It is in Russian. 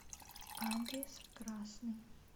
адрес красный